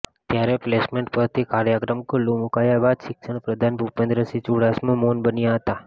ત્યારે પ્લેસમેન્ટ પરથી કાર્યક્રમ ખુલ્લુ મુકાયા બાદ શિક્ષણ પ્રધાન ભૂપેન્દ્રસિંહ ચુડાસમા મૌન બન્યા હતા